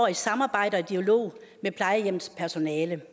i samarbejde og dialog med plejehjemmets personale